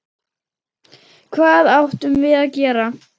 Hvað áttum við að gera?